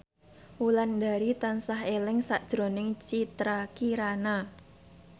Wulandari tansah eling sakjroning Citra Kirana